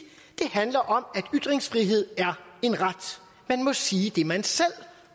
det handler om at ytringsfrihed er en ret man må sige det man selv